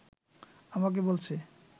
আমাকে বলছে